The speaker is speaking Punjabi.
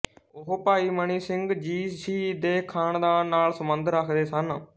ਉਹ ਭਾਈ ਮਨੀ ਸਿੰਘ ਜੀ ਸ਼ਹੀਦ ਦੇ ਖ਼ਾਨਦਾਨ ਨਾਲ ਸੰਬੰਧ ਰੱਖਦੇ ਸਨ